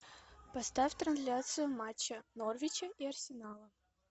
поставь трансляцию матча норвича и арсенала